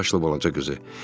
Üç yaşlı balaca qızı.